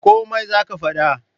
Komai za ka fada?